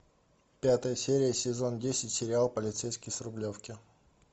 пятая серия сезон десять сериал полицейский с рублевки